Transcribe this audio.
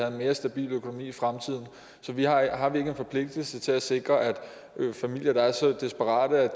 en mere stabil økonomi i fremtiden så har har vi ikke en forpligtelse til at sikre at familier der er så desperate at de